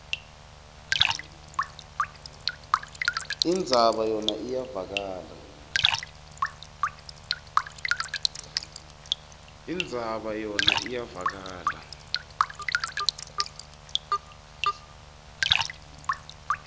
indzaba yona iyevakala